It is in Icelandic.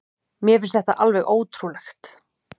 Mér finnst þetta alveg ótrúlegt